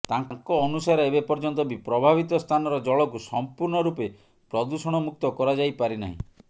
ତାଙ୍କ ଅନୁସାରେ ଏବେ ପର୍ୟ୍ୟନ୍ତ ବି ପ୍ରଭାବିତ ସ୍ଥାନର ଜଳକୁ ସମ୍ପୂର୍ଣ୍ଣ ରୂପେ ପ୍ରଦୂଷଣ ମୁକ୍ତ କରାଯାଇ ପାରିନାହିଁ